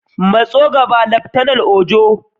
Matso gaba, Laftanar Ojo.